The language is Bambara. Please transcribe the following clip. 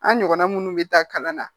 An ɲɔgɔnna minnu bɛ taa kalan na